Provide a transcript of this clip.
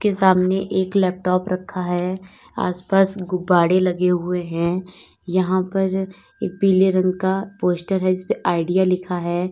सामने एक लैपटॉप रखा है आसपास गुब्बारे लगे हुए हैं यहां पर एक पीले रंग का पोस्टर है इसपे आइडिया लिखा है।